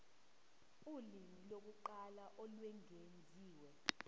ulimi lokuqala olwengeziwe